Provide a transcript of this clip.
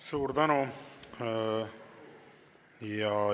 Suur tänu!